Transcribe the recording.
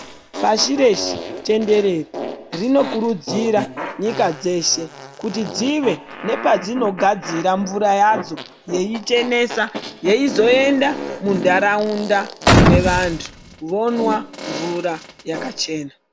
Pashi reshe tenderere rinokurudzira nyika dzeshe kuti dzive nepadzinogadzira mvura yadzo yeichenesa yeizoenda muntaraunda mune vantu vomwa mvura yakachena.